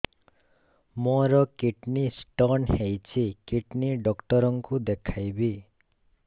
ମୋର kidney stone ହେଇଛି kidney doctor କୁ ଦେଖାଇବି